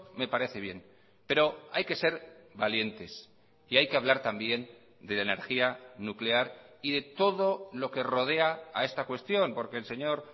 me parece bien pero hay que ser valientes y hay que hablar también de la energía nuclear y de todo lo que rodea a esta cuestión porque el señor